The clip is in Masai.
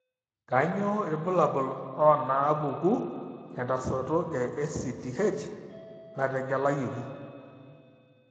Kainyio irbulabul onaapuku entasato eACTH nategelayioki?